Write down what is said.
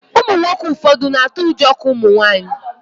Ụmụnwoke ụfọdụ na-atụ ụjọ ka Ụmụnwaanyị